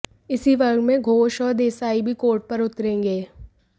इसी वर्ग में घोष और देसाई भी कोर्ट पर उतरेंगे